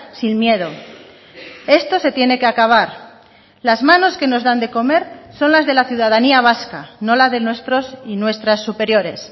sin miedo esto se tiene que acabar las manos que nos dan de comer son las de la ciudadanía vasca no la de nuestros y nuestras superiores